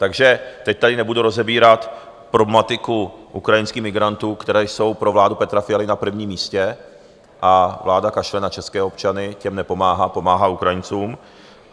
Takže teď tady nebudu rozebírat problematiku ukrajinských migrantů, kteří jsou pro vládu Petra Fialy na prvním místě, a vláda kašle na české občany, těm nepomáhá, pomáhá Ukrajincům.